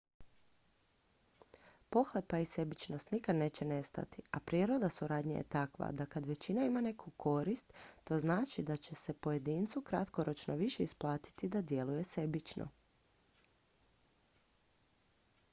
pohlepa i sebičnost nikad neće nestati a priroda suradnje je takva da kad većina ima neku korist to znači da će se pojedincu kratkoročno više isplatiti da djeluje sebično